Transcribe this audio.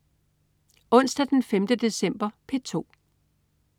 Onsdag den 5. december - P2: